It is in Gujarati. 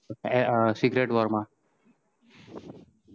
secret Wars માં